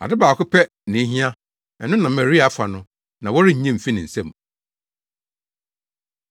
Ade baako pɛ na ehia; ɛno na Maria afa no; na wɔrennye mfi ne nsam.”